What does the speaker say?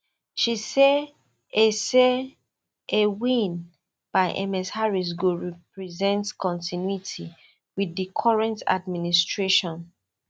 she say a say a win by ms harris go represent continuity wit di current administration